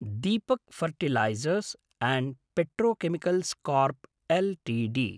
Deepak fertilisers and petrochemicals corp Ltd